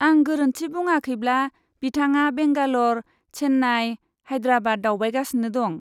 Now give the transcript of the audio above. आं गोरोन्थि बुङाखैब्ला, बिथाङा बेंगालर, चेन्नाइ, हाइद्राबाद दावबायगासिनो दं।